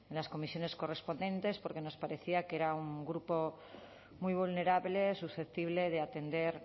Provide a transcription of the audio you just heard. las comisiones correspondientes porque nos parecía que era un grupo muy vulnerable susceptible de atender